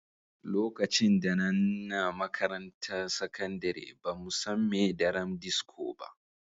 Lokacin da n'na makarantan sakandare ba mu san me daren disko ba.